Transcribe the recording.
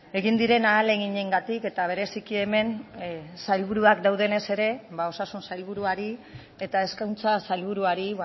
egin diren ahaleginengatik eta bereziki hemen sailburuak daudenez ere ba osasun sailburuari eta hezkuntza sailburuari